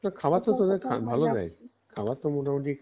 খাবার তো তোদের ভালো দেয় খাবার তো মোটামুটি